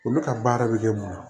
Olu ka baara bɛ kɛ mun ye